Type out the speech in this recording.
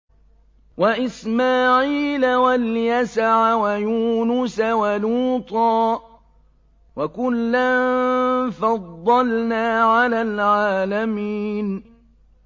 وَإِسْمَاعِيلَ وَالْيَسَعَ وَيُونُسَ وَلُوطًا ۚ وَكُلًّا فَضَّلْنَا عَلَى الْعَالَمِينَ